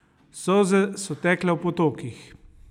Solze so tekle v potokih.